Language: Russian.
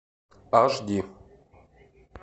аш ди